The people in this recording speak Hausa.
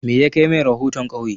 Me yakai mai rahoton ƙauye?